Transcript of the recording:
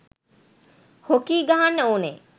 Hockey ගහන්න ඕනෙ.